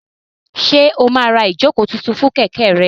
Ṣé o máa ra ìjókòó tuntun fún kẹ̀kẹ́ rẹ?